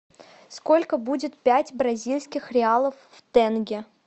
сколько будет пять бразильских реалов в тенге